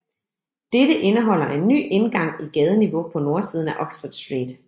Dette indeholder en ny indgang i gadeniveau på nordsiden af Oxford Street